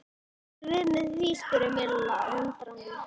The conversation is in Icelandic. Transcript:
Hvað áttu við með því? spurði Milla undrandi?